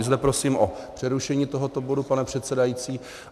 I zde prosím o přerušení tohoto bodu, pane předsedající.